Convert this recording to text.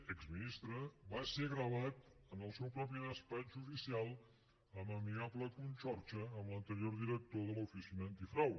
exministre va ser gravat en el seu propi despatx oficial en amigable conxorxa amb l’anterior director de l’oficina antifrau